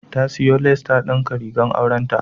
Ta siyo lace ta dinka rigar aurenta.